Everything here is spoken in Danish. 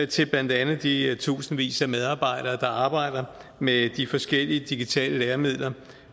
til blandt andet de tusindvis af medarbejdere der arbejder med de forskellige digitale læremidler